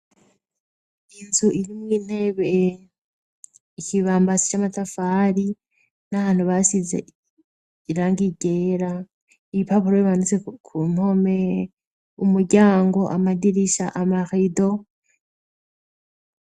Inzu iri mu intebe ikibambasi c'amatafari n'ahantu basize irangi ryera ibipapuro bibandutse ku mpome umuryango amadirisha amarido.